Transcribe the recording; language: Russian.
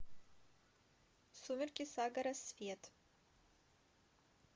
сумерки сага рассвет